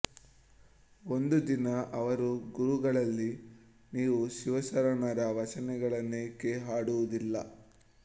ಒಂದು ದಿನ ಅವರು ಗುರುಗಳಲ್ಲಿ ನೀವು ಶಿವಶರಣರ ವಚನಗಳನ್ನೇಕೆ ಹಾಡುವುದಿಲ್ಲ